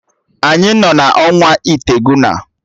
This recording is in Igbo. Anyị nọ na ọnwa itegụna